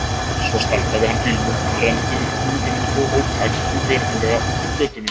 Svo startaði hann bílnum, renndi upp rúðunum og ók hægt og virðulega út úr götunni.